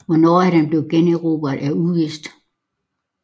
Hvornår den blev generobret er uvist